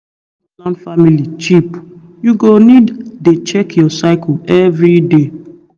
if you wan plan family cheap you go need dey check your cycle every day